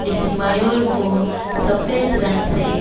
इस मयूर को सफेद रंग से--